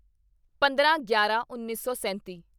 ਪੰਦਰਾਂਗਿਆਰਾਂਉੱਨੀ ਸੌ ਸੈਂਤੀ